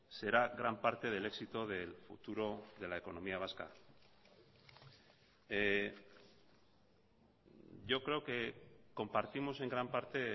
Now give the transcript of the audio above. será gran parte del éxito del futuro de la economía vasca yo creo que compartimos en gran parte